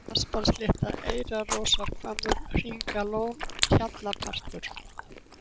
Asparslétta, Eyrarrósarhvammur, Hringalón, Hjallpartur